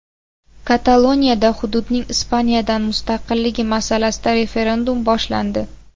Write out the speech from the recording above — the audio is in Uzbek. Kataloniyada hududning Ispaniyadan mustaqilligi masalasida referendum boshlandi.